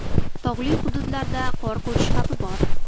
Tog‘li hududlarida qor ko‘chishi xavfi bor.